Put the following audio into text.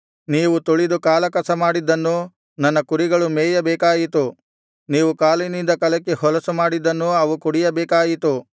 ನೀವು ತುಳಿದು ಕಾಲಕಸ ಮಾಡಿದ್ದನ್ನು ನನ್ನ ಕುರಿಗಳು ಮೇಯಬೇಕಾಯಿತು ನೀವು ಕಾಲಿನಿಂದ ಕಲಕಿ ಹೊಲಸು ಮಾಡಿದ್ದನ್ನು ಅವು ಕುಡಿಯಬೇಕಾಯಿತು